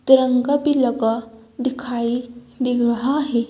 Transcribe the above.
तिरंगा भी लगा दिखाई दे रहा है।